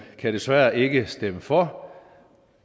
kan desværre ikke stemme for